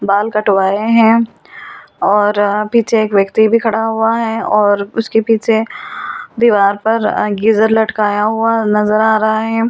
बाल कटवाए हैं और पीछे एक व्यक्ति भी खड़ा हुआ है और उसके पीछे दीवार पर गीजर लटकाया हुआ नजर आ रहा है।